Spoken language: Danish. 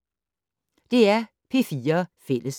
DR P4 Fælles